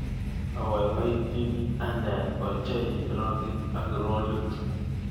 Abaibaityini ane ochei rockit ak rollit